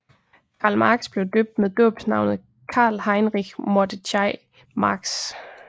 Karl Marx blev døbt med dåbsnavnet Karl Heinrich Mordechai Marx